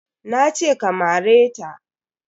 Nace ka mare ta.